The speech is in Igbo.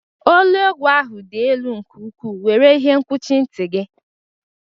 Olu egwu ahụ dị elu nke ukwu, were ihe nkwuchi nti gị!